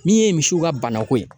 Min ye misiw ka banako ye